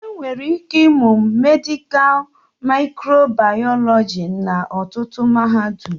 Enwere ike ịmụ mèdịká mịkròbàyọlọjí n'ọtụtụ mahadum